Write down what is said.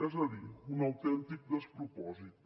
és a dir un autèntic despropòsit